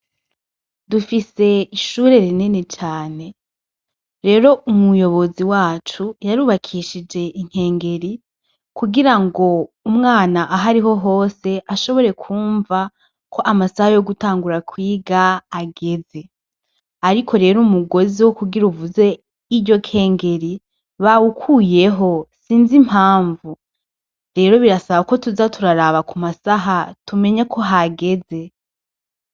Dufise ishure rinini cane rero umuyobozi wacu yarubakishije inkengeri kugira ngo umwana ahariho hose ashobore kumva ko amasaha yo gutangura kwiga ageze, ariko rero umugozi wo kugira uvuze iryokengeri bawukuyeho sinzi impamvu rero birasaba ko tuza turaraba ku masaha tumenye ko hageze.